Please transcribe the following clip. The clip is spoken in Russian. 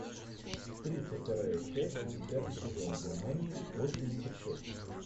тридцать вторая часть десятый сезон германия восемьдесят шесть